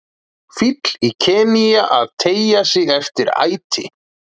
Fíll í Kenía að teygja sig eftir æti.